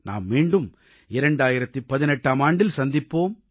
நாம் மீண்டும் 2018ஆம் ஆண்டில் சந்திப்போம்